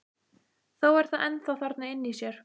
Þó er það ennþá þarna inni í sér.